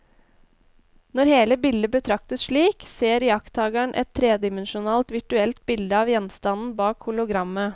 Når hele bildet betraktes slik, ser iakttakeren et tredimensjonalt virtuelt bilde av gjenstanden bak hologrammet.